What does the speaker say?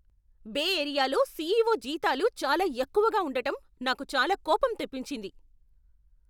బే ఏరియాలో సిఈఓ జీతాలు చాలా ఎక్కువగా ఉండటం నాకు చాలా కోపం తెప్పించింది.